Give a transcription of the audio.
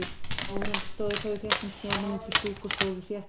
Áhorfendur stóðu þó í þéttum snjónum uppí stúku og stóðu þétt saman.